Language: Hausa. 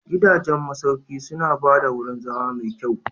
Gidajen masauki suna ba da wurin zama mai kyau.